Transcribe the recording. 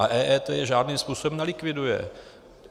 A EET je žádným způsobem nelikviduje.